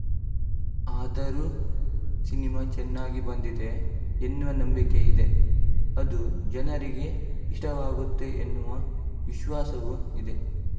ಆದರೂ ಸಿನಿಮಾ ಚೆನ್ನಾಗಿ ಬಂದಿದೆ ಎನ್ನುವ ನಂಬಿಕೆಯಿದೆ ಅದು ಜನರಿಗೆ ಇಷ್ಟವಾಗುತ್ತೆ ಎನ್ನುವ ವಿಶ್ವಾಸವೂ ಇದೆ